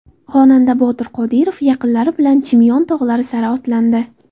Xonanda Botir Qodirov yaqinlari bilan Chimyon tog‘lari sari otlandi.